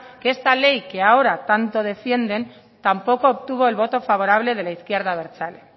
que esta ley que ahora tanto defienden tampoco obtuvo el voto favorable de la izquierda abertzale